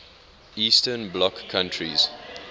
eastern bloc countries